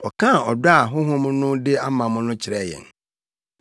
Ɔkaa ɔdɔ a Honhom no de ama mo no kyerɛɛ yɛn.